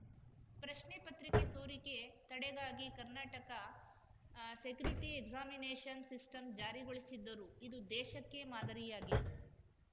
ಪ್ರಶ್ನೆ ಪತ್ರಿಕೆ ಸೋರಿಕೆ ತಡೆಗಾಗಿ ಕರ್ನಾಟಕ ಸೆಕ್ಯೂರಿಟಿ ಎಕ್ಸಾಮಿನೇಷನ್‌ ಸಿಸ್ಟಂ ಜಾರಿಗೊಳಿಸಿದ್ದರು ಇದು ದೇಶಕ್ಕೇ ಮಾದರಿಯಾಗಿತ್ತು